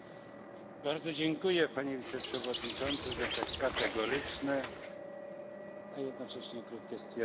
Bardzo dziękuję Panie Wiceprzewodniczący za tak kategoryczne, a jednocześnie krótkie stwierdzenie.